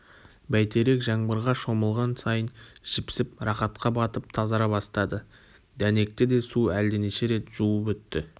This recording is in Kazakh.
бәйтерек жаңбырға шомылған сайын жіпсіп рақатқа батып тазара бастады дәнекті де су әлденеше рет жуып өтті